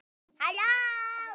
Komdu maður.